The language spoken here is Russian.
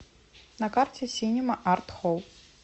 на карте синема арт холл